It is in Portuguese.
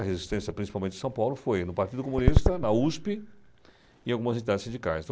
A resistência, principalmente em São Paulo, foi no Partido Comunista, na USP e em algumas entidades sindicais.